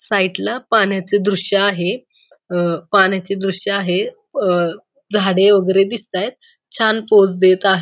side पाण्याचे दृश्य आहे अ पाण्याचे दृश्य आहे अ झाडे वगैरे दिसतायत छान पोज देत आ--